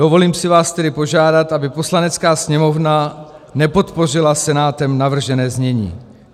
Dovolím si vás tedy požádat, aby Poslanecká sněmovna nepodpořila Senátem navržené znění.